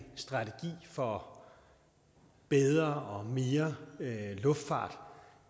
strategi for bedre og mere luftfart